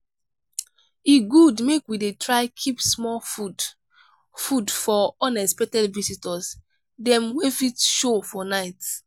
e good make we dey try keep small food food for unexpected visitors dem wey fit show for night.